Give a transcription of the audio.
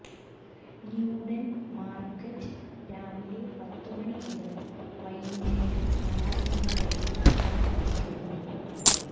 Newton market രാവിലെ പത്തുമണി മുതൽ വൈകുന്നേരം ആറു മണിവരെ പ്രവർത്തിക്കുന്നു